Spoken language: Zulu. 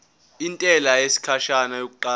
intela yesikhashana yokuqala